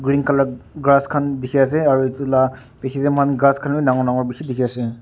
green colour grass khan dekhi ase aru etu la piche te moikan gass khan bhi dagur dagur dekhi ase.